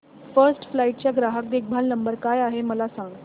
first flight चा ग्राहक देखभाल नंबर काय आहे मला सांग